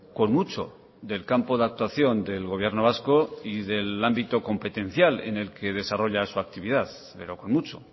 con mucho del campo de actuación del gobierno vasco y del ámbito competencial en el que desarrolla su actividad pero con mucho